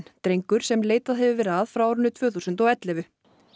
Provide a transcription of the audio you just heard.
drengur sem leitað hefur verið að frá árinu tvö þúsund og ellefu